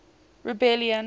rebellion